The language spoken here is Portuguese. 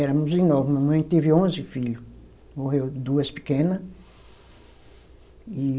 Éramos em nove, mamãe teve onze filho, morreu duas pequena e